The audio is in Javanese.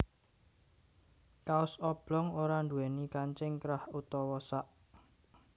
Kaos oblong ora nduwèni kancing krah utawa sak